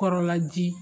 Kɔrɔla ji